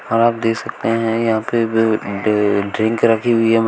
और आप देख सकते हैं यहां पे ड्रिंक रखी हुई है म --